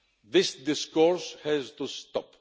This discourse has to stop.